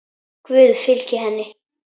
Guð fylgi henni.